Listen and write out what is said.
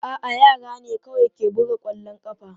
A'a, yara na ne kawai ke buga kwallon ƙafa.